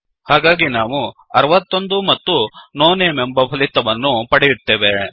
ಹಾಗಾಗಿ ನಾವು 61 ಮತ್ತು ನೋ ನೇಮ್ ಎಂಬ ಫಲಿತವನ್ನು ಪಡೆಯುತ್ತೇವೆ